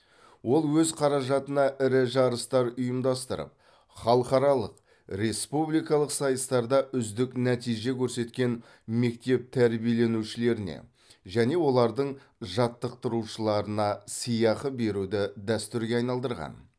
ол өз қаражатына ірі жарыстар ұйымдастырып халықаралық республикалық сайыстарда үздік нәтиже көрсеткен мектеп тәрбиеленушілеріне және олардың жаттықтырушыларына сыйақы беруді дәстүрге айналдырған